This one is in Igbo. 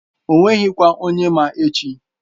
O nweghị kwa onye ma echi.